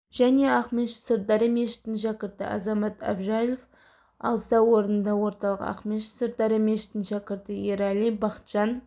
және ақмешіт сырдария мешітінің шәкірті азамат әбжалов алса орынды орталық ақмешіт-сырдария мешітінің шәкірті ерәли бақытжан